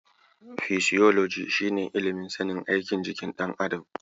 Fisiyolagi shi ne ilimin sanin aikin jikin ɗan adam.